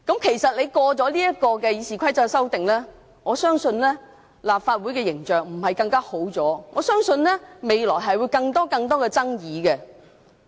其實，通過今次《議事規則》的修訂後，我相信立法會的形象不會改善，我相信未來只會不斷出現更多的爭議。